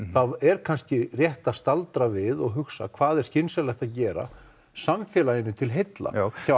þá er kannski rétt að staldra við og hugsa hvað er skynsamlegt að gera samfélaginu til heilla